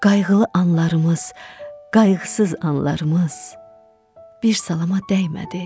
Qayğılı anlarımız, qayğısız anlarımız bir salama dəymədi.